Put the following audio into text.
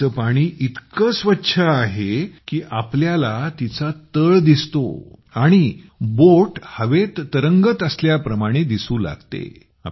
नदीचे पाणी इतके स्वच्छ आहे की आपल्याला तिचा तळ दिसतो आणि बोट हवेत तरंगत असल्याप्रमाणे दिसू लागते